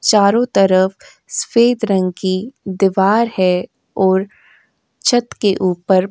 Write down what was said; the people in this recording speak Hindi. चारों तरफ सफेद रंग की दीवार है और छत के ऊपर --